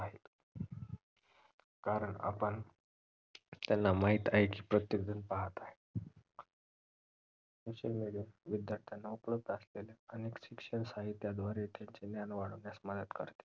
कारण आपण त्यांना माहीत आहे की प्रत्येक जन पाहत आहे social media विद्यार्थ्यांना उपलब्ध असलेले अनेक शिक्षण साहित्याद्वारे त्यांचे ज्ञान वाढवण्यास मदत करते